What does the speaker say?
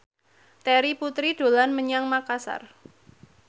Terry Putri dolan menyang Makasar